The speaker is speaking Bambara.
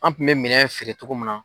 An kun mɛ minɛn feere cogo min na.